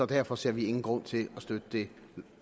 derfor ser vi ingen grund til at støtte det